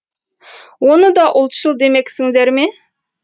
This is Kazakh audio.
оны да ұлтшыл демексіңдер ме